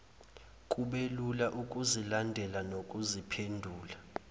kubelula ukuzilandela nokuziphendula